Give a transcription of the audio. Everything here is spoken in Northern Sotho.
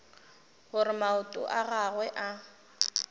gore maoto a gagwe a